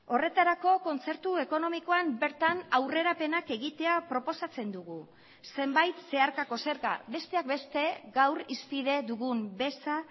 horretarako kontzertu ekonomikoan bertan aurrerapenak egitea proposatzen dugu zenbait zeharkako zerga besteak beste gaur hizpide dugun beza